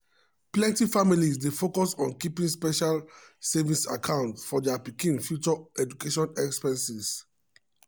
plenty families dey focus on keeping special savings account for dia pikin future education expenses.